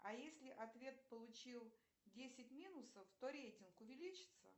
а если ответ получил десять минусов то рейтинг увеличится